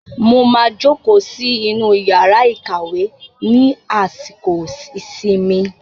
Mo máa jókòó sí inú yàrá ìkàwé ní àsìkò ìsinmi.